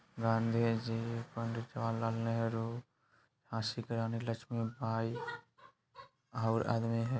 गाँधी जी पंडित जवाहर लाल नहेरु झाँसी की रानी लक्ष्मी बाई और आदमी है |